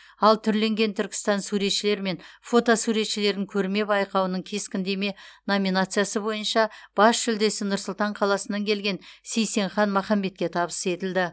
ал түрленген түркістан суретшілер мен фото суретшілерін көрме байқауының кескіндеме номинациясы бойынша бас жүлдесі нұр сұлтан қаласынан келген сейсенхан махамбетке табыс етілді